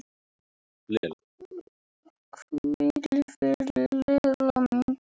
Hvíl í friði, Lella mín.